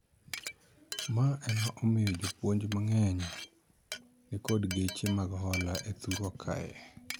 Ma ema omiyo jopuonj mangeny nikod geche mag hola e thurwa kae